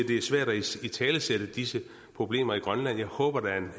det er svært at italesætte disse problemer i grønland jeg håber der er